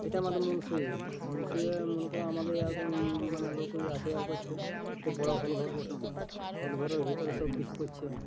এটা আমাদের মুনসি। মুনসি এ মনে করো আমাদের ইয়া কন-ন মানে লোক নিয়া আসা যাওয়া করছে। ইটা বড় হল ঘর বটে। হল ঘরের ভিতরে সবকিছু করছে।